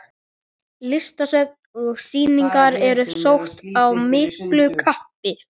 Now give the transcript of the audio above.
Listasöfn og sýningar eru sótt af miklu kappi.